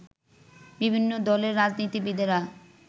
বিভিন্ন দলের রাজনীতিবিদেরা